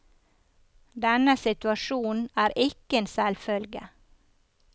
Denne situasjonen er ikke en selvfølge.